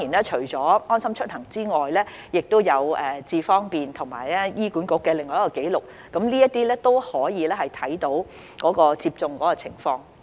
除了"安心出行"之外，亦可從"智方便"及醫院管理局的紀錄看到疫苗接種的情況。